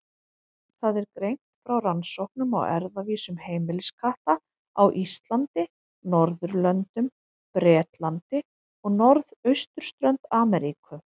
Þar er greint frá rannsóknum á erfðavísum heimiliskatta á Íslandi, Norðurlöndum, Bretlandi og norðausturströnd Ameríku.